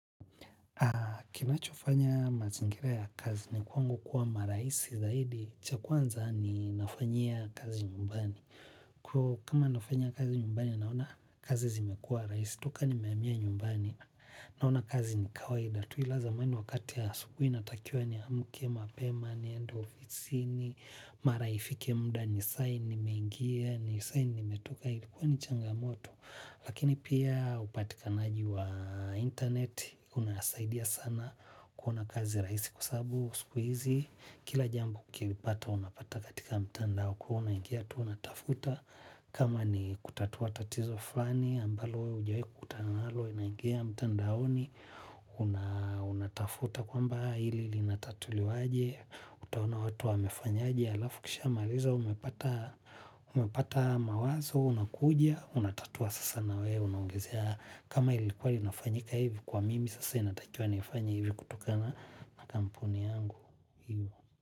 Kina cho fanya mazingira ya kazi ni kwangu kuwa maraisi zaidi chakuanza ni nafanyia kazi nyumbani. Kwa kama nafanyia kazi nyumbani naona kazi zimekua raisi. Toka nimeamia nyumbani naona kazi ni kawai. Lazima wakati ya asubuhi inatakia niamuke mapema, niende ofisini, mara ifike muda, ni sign nimeingia, ni sign nimetoka, ilikuwa ni changamoto. Lakini pia upatikanaji wa internet, unasaidia sana kuona kazi rahisi kwa sababu, siku hizi, kila jambo ukipata unapata katika mtandao kwa hivo unangia tu unatafuta. Kama ni kutatua tatizo fulani ambalo wewe hujawahi kutangalo unaingia mtandaoni unatafuta kwamba hili linatatuliwaje utaona watu wamefanyaje alafu kishamaliza umepata mawazo unakuja, unatatua sasa na wewe unaongezea kama ilikuwa linafanyika hivi kwa mimi sasa inatakuwa nifanye hivi kutokana na kampuni yangu.